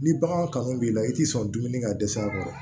Ni bagan kanu b'i la i t'i sɔn dumuni ka dɛsɛ a kɔrɔ